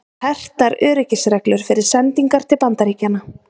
Hertar öryggisreglur fyrir sendingar til Bandaríkjanna